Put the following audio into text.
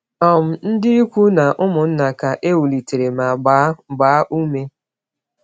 um Ndị ikwu na ụmụnna ka ewulitere ma gbaa gbaa ume.